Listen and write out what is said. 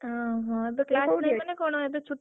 ଅହ ଏବେ କୋଉଠି ଅଛୁ?